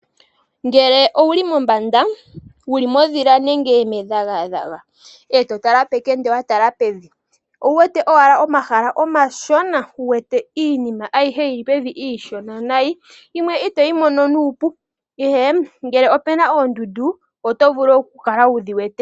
Ngele owuli mombanda wuli mondhila nenge medhagadhaga e to tala pekende wa tala pevi owu wete owala omahala omashona, wu wete iinima ayihe yili pevi iishona nayi, yimwe ito yi mono nuupu, ihe ngele opena oondundu oto vulu okukala wu dhi wete.